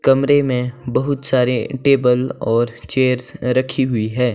कमरे में बहुत सारे टेबल और चेयर्स रखी हुई है।